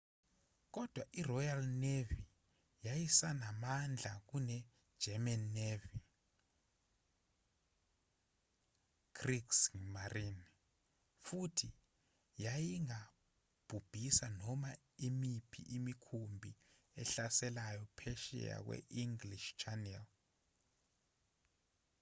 kodwa iroyal navy yayisanamandla kunegerman navy kriegsmarine futhi yayingabhubhisa noma imiphi imikhumbi ehlaselayo phesheya kwe-english channel